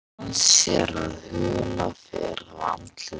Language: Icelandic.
Vinur hans sér að hula fer af andliti hans.